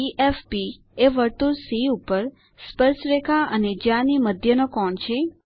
∠DFB એ વર્તુળ સી ઉપર સ્પર્શરેખા અને જ્યા ની મધ્ય નો કોણ છે